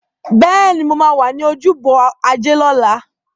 Bẹ́ẹ̀ni, mo máa wà ní ojúbọ Ajé lọ́la.